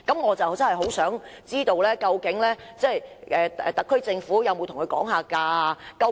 我想知道，究竟特區政府有沒有跟港鐵公司議價？